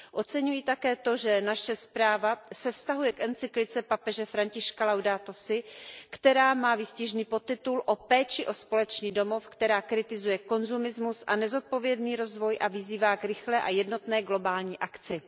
Oceňuji také to, že naše zpráva se vztahuje k encyklice papeže Františka Laudato si, která má výstižný podtitul O péči o společný domov, která kritizuje konzumní společnost a nezodpovědný rozvoj a vyzývá k rychlé a jednotné globální akci.